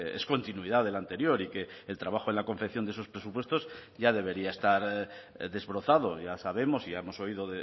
es continuidad del anterior y que el trabajo en la confección de esos presupuestos ya debería estar desbrozado ya sabemos ya hemos oído